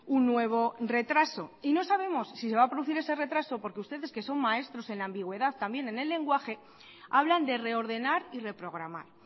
un nuevo retraso y no sabemos si se va a producir ese retraso porque ustedes que son maestros en la ambigüedad también en el lenguaje hablan de reordenar y reprogramar